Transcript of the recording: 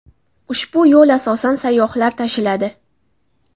Ushbu yo‘l asosan sayyohlar tashiladi.